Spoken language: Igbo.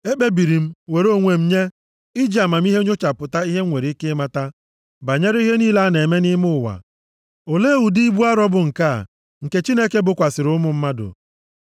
Ekpebiri m, were onwe m nye, iji amamihe nnyochapụta ihe m nwere ike ịmata banyere ihe niile a na-eme nʼime ụwa. Olee ụdị ibu arọ bụ nke a, nke Chineke bokwasịrị ụmụ mmadụ?